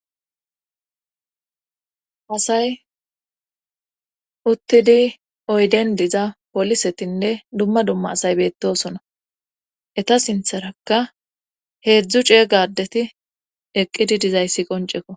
Asay uttidi oyden diza polisetinne dumma dumma asay beettosona eta sintharakka heedzdzu cee gadeti eqqidi dizayssi qonceko.